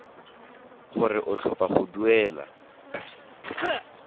gore o tlhopha go duela